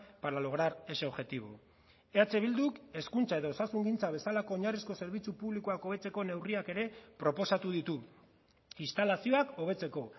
para lograr ese objetivo eh bilduk hezkuntza edo osasungintza bezalako oinarrizko zerbitzu publikoak hobetzeko neurriak ere proposatu ditu instalazioak hobetzeko